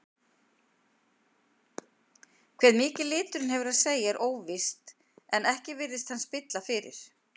Hve mikið liturinn hefur að segja er óvíst en ekki virðist hann spilla fyrir.